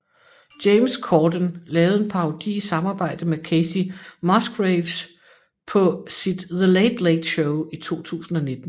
James Corden lavede en parodi i samarbejde med Kacey Musgraves på sit The Late Late Show i 2019